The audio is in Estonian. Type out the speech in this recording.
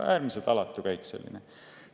Äärmiselt alatu käik!